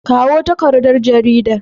Kawo takardar garida.